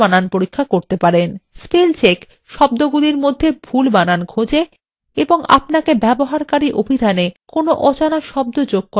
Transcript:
spell check শব্দগুলির মধ্যে ভুল বানান খোজে এবং আপনাকে ব্যবহারকারী অভিধানএ কোনো অজানা শব্দ যোগ করার বিকল্প দেয়